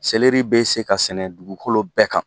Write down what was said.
Seliri be se ka sɛnɛ dugukolo bɛɛ kan